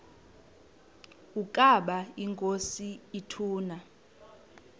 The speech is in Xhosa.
ukaba inkosi ituna